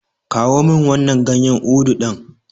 Kawo min wannan ganyen Udu ɗin.